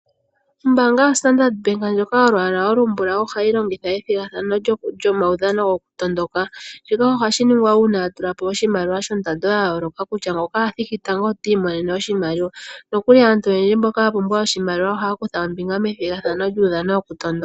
Ombanya yoStandard ndjoka yolwaala ombulawu ohayi longitha ethigathano lyomaudhano gokutondoka shika ohashi ningwa uuna ya tulapo oshimaliwa shondando yayooloka kutya ngoka athiki tango oti imonene oshimaliwa. Nokuli aantu oyendji mboka yapumbwa oshimaliwa ohaya kutha ombinga methigathano lyokutondoka.